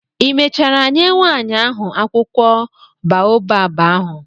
ị mechara nye nwaanyị ahụ akwụkwọ baobab ahụ?